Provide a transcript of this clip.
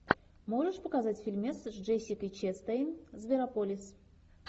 можешь показать фильмец с джессикой честейн зверополис